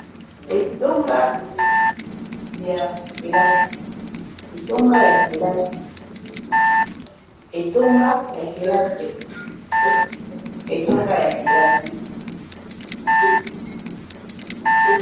Etonga ya kelasi, etonga ya kelasi